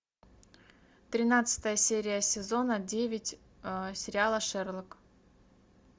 тринадцатая серия сезона девять сериала шерлок